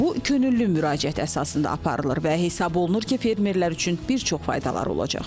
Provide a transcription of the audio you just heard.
Bu könüllü müraciət əsasında aparılır və hesab olunur ki, fermerlər üçün bir çox faydalar olacaq.